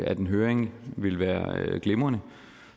at en høring ville være glimrende